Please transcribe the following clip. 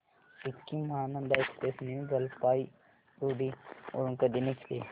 Sikkim Mahananda express new Jalpaiguri वरून कधी निघते